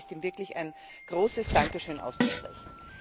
Und dafür ist ihm wirklich ein großes Dankeschön auszusprechen.